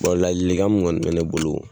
ladilkan min kɔni bɛ ne bolo